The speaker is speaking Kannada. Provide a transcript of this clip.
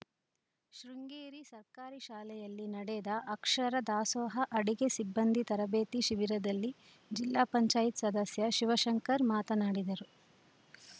ಶೃಂಗೇರಿ ಸರ್ಕಾರಿ ಶಾಲೆಯಲ್ಲಿ ನಡೆದ ಅಕ್ಷರ ದಾಸೋಹ ಅಡುಗೆ ಸಿಬ್ಬಂದಿ ತರಬೇತಿ ಶಿಬಿರದಲ್ಲಿ ಜಿಲ್ಲಾ ಪಂಚಾಯತ್ ಸದಸ್ಯ ಶಿವಶಂಕರ್‌ ಮಾತನಾಡಿದರು